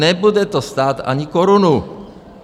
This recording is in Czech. Nebude to stát ani korunu.